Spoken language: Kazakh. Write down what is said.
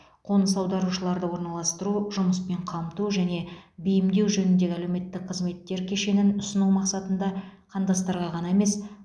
қоныс аударушыларды орналастыру жұмыспен қамту және бейімдеу жөніндегі әлеуметтік қызметтер кешенін ұсыну мақсатында қандастарға ғана емес